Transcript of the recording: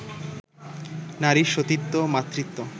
নারীর সতীত্ব, মাতৃত্ব